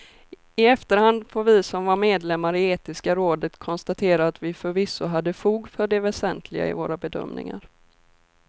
I efterhand får vi som var medlemmar i etiska rådet konstatera att vi förvisso hade fog för det väsentliga i våra bedömningar.